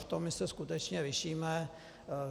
V tom my se skutečně lišíme.